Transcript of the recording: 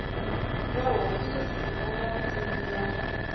va hofisi va vapfuni ya